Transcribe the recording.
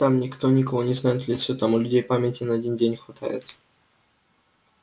там никто никого не знает в лицо там у людей памяти на один день хватает